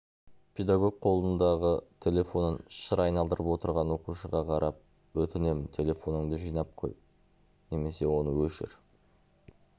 педагог қолындағы телефонын шыр айналдырып отырған оқушыға қарап өтінемін телефоныңды жинап қой немесе оны өшір